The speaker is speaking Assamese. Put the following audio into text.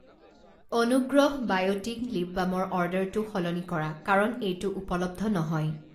অনুগ্ৰহ বায়'টিক লিপ বামৰ অৰ্ডাৰটো সলনি কৰা কাৰণ এইটো উপলব্ধ নহয়।